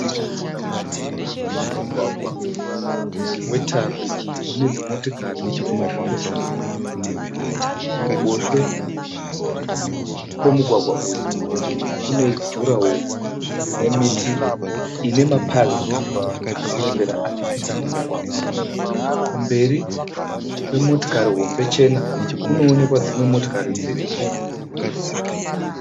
Mugwagwa wetara une dzimotikari dziri kupesana. Kuruboshwe kwemugwagwa uyu kune jurahoro rine miti ine mapazi arikurembera achipinda mumugwagwa. Kumberi kwemotikari hombe chena kunoonekwa dzimwe motikari dziriko.